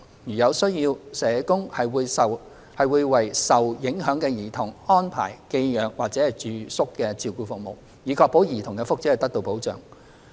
如有需要，社工會為受影響的兒童安排寄養或住宿照顧服務，以確保兒童的福祉得到保障。